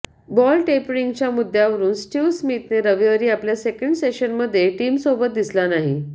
ball टेंपिरिंगच्या मुद्यावरून Steve स्मिथने रविवारी आपल्या सेंकड सेशनमध्ये टीमसोबत दिसला नाही